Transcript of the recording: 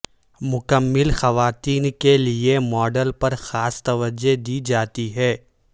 مکمل خواتین کے لئے ماڈل پر خاص توجہ دی جاتی ہے